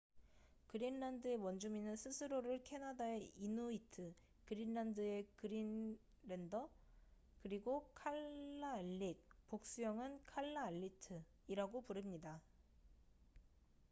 그린란드의 원주민은 스스로를 캐나다의 이누이트 그린란드의 그린랜더 그리고 칼라알릭복수형은 칼라알리트이라고 부릅니다